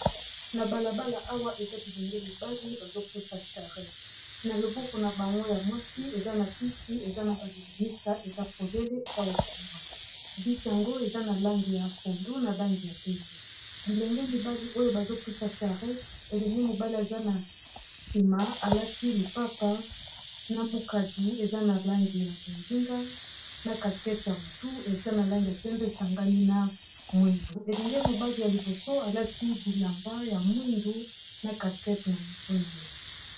Na balabala awa eza bilenge mibali bazopusa charrette na loboko na bango ya mwasi eza na bisi eza na balimimisa eza polele eza ofungwama bisi yango eza na langi ya pondu na langi ya pembe bilenge mibali oyo bazopusa charrette elenge mobali eza na nsima alati lipapa na mukadi eza na langi ya bondinga na kaskette ya motu eza na langi ya pembe esangani na mwindu elenge mobali ya liboso alati bilamba ya mwindu na caskete na motu na yo